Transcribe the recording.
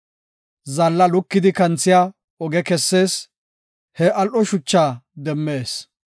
Zaalla lukidi kanthiya oge kessees; he al7o shuchaa demmees.